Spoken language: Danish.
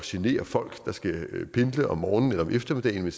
generer folk der skal pendle om morgenen eller om eftermiddagen